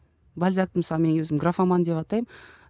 бальзакты мысалы мен өзім графоман деп атаймын